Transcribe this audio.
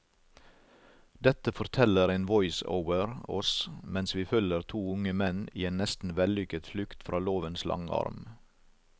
Dette forteller en voiceover oss mens vi følger to unge menn i en nesten vellykket flukt fra lovens lange arm.